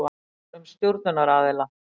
Gögn um stjórnunaraðila.